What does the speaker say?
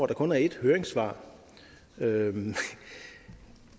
der kun er et høringssvar ja